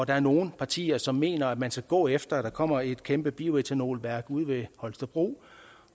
er nogle partier som mener at man skal gå efter at der kommer et kæmpe bioetanolværk ude ved holstebro